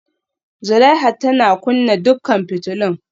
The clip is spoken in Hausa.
Zulaihat tana kunna dukkan fitulun